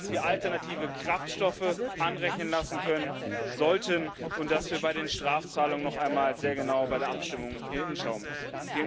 Ich finde, dass wir alternative Kraftstoffe anrechnen lassen können sollten und dass wir bei den Strafzahlungen noch einmal sehr genau bei der Abstimmung hinschauen müssen.